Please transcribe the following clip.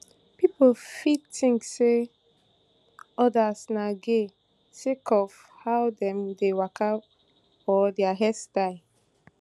pipo fit tink say odas na gay sake of how dem dey waka or dia hairstyle